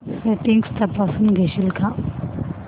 settings तपासून घेशील का